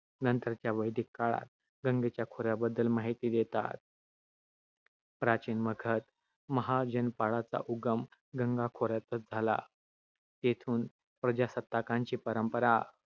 नंतरच्या वैदिक काळात गंगेच्या खोऱ्याबद्दल माहिती देतात. प्राचीन मगध महाजनपाडाचा उगम गंगा खोऱ्यातच झाला, तेथून प्रजासत्ताकांची परंपरा